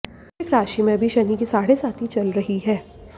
वृश्चिक राशि में अभी शनि की साढ़ेसाती चल रही है